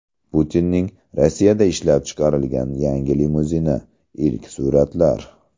Putinning Rossiyada ishlab chiqarilgan yangi limuzini: ilk suratlar .